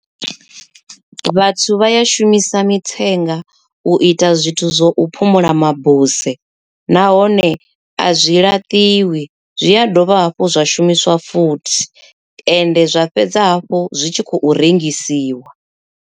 Vhathu vha ya shumisa mithenga u ita zwithu zwo u phumula mabuse, nahone a zwi laṱiwi zwi a dovha hafhu zwa shumiswa futhi ende zwa fhedza hafhu zwi tshi khou rengisiwa.